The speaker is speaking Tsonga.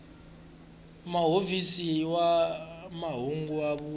muofisiri wa mahungu wa huvo